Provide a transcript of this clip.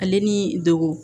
Ale ni degun